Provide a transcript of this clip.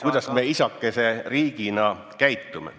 ... kuidas me isakese riigina käitume.